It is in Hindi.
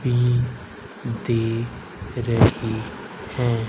दे रही हैं।